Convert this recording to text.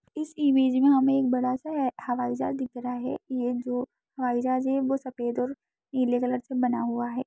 इस इमेज मे हमे एक बड़ा सा हवाई जहाज दिख रहा है ये जो हवाई जहाज है वो सफेद और नीले कलर से बना हुआ है।